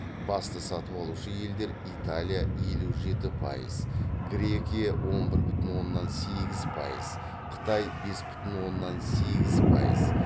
басты сатып алушы елдер италия елу жеті пайыз грекия он бір бүтін оннан сегіз пайыз қытай бес бүтін оннан сегіз пайыз